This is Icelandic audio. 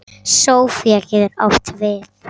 Sofía getur átt við